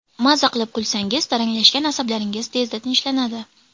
Maza qilib kulsangiz, taranglashgan asablaringiz tezda tinchlanadi.